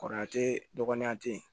Kɔrɔ teyi dɔgɔnan te ye